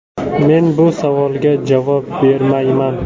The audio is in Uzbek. Men bu savolga javob bermayman.